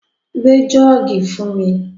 Gbé jọ́ọ̀gì fún mi!